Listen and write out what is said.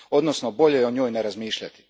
Odnosno, bolje je o njoj ne razmišljati.